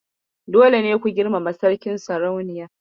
Dole ne ku girmama Sarkin/sarauniyar.